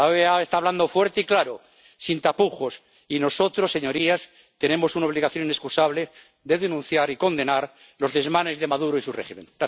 La OEA está hablando fuerte y claro, sin tapujos, y nosotros, señorías, tenemos una obligación inexcusable de denunciar y condenar los desmanes de Maduro y su régimen.